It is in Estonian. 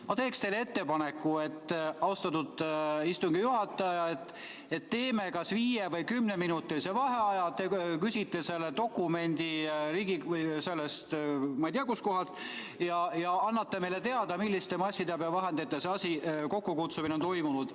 Ma teen teile ettepaneku, austatud istungi juhataja, et teeme kas viie- või kümneminutilise vaheaja, te küsite selle dokumendi kantseleist või ma ei tea, kust kohast, ja annate meile teada, milliste massiteabevahendite kaudu on see kokkukutsumine toimunud.